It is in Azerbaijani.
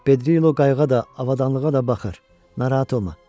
Pedrilo qayğıya da, avadanlığa da baxır, narahat olma.